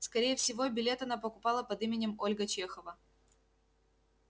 скорее всего билет она покупала под именем ольга чехова